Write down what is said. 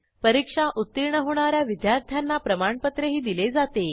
परीक्षा उत्तीर्ण होणा या विद्यार्थ्यांना प्रमाणपत्रही दिले जाते